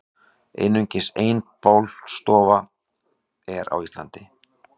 Einungis ein bálstofa er á Íslandi.